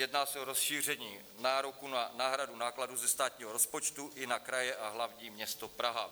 Jedná se o rozšíření nároku na náhradu nákladů ze státního rozpočtu i na kraje a hlavní město Praha.